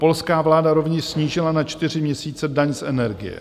Polská vláda rovněž snížila na čtyři měsíce daň z energie.